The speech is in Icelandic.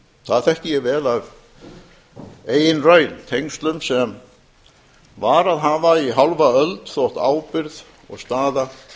það þekki ég vel af eigin raun tengslum sem varað hafa í hálfa öld þótt ábyrgð og staða